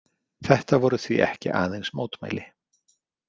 Þetta voru því ekki aðeins mótmæli.